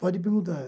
Pode me mudar.